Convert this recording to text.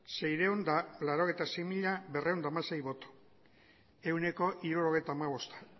seiehun eta laurogeita sei mila berrehun eta hamasei boto ehuneko hirurogeita hamabosta